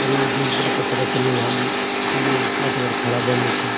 अर यु देखेकी आपथे पता चलनु ह्वालू की यु पार्टी खण खाणा बणनु चा।